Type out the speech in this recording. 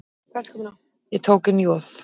Ég tók inn Joð.